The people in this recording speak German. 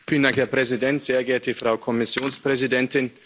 Herr Präsident, sehr geehrte Frau Kommissionspräsidentin!